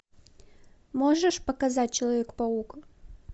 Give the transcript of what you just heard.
можешь показать человек паук